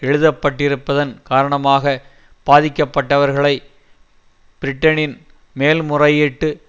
எழுப்பப்பட்டிருப்பதன் காரணமாக பாதிக்கப்பட்டவர்களை பிரிட்டனின் மேல்முறையீட்டு